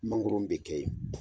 Mangɔron bɛ kɛ yen